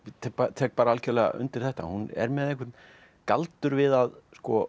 tek bara algjörlega undir þetta hún er með einhvern galdur við að